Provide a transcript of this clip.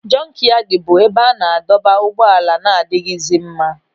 Jọnkyadi bụ ebe a na-adọba ụgbọala na-adịghịzi mma.